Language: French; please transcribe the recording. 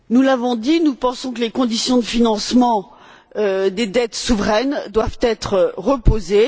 Nous l'avons dit, nous pensons que les conditions de financement des dettes souveraines doivent être repensées.